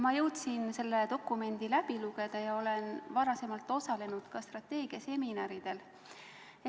Ma jõudsin selle dokumendi läbi lugeda ja olen osalenud ka strateegiaseminaridel.